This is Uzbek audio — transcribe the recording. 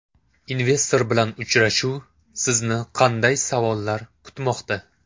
Investor bilan uchrashuv: sizni qanday savollar kutmoqda?.